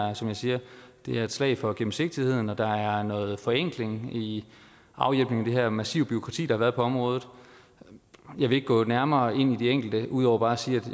er som jeg siger et slag for gennemsigtigheden og der er noget forenkling i afhjælpningen af det her massive bureaukrati der har været på området jeg vil ikke gå nærmere ind i de enkelte dele ud over bare at sige